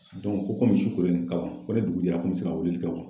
komi su kolen kaban ko ne dugujɛra ko me se ka weleli kɛ